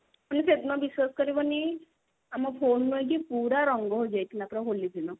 ସେଦିନ ବିଶ୍ବାସ କରିବନି ଆମ ଫୋନ ନୁହେଁ କି ପୁରା ରଙ୍ଗ ହେଇଯାଇଥିଲା ପୁରା ହୋଲି ଦିନ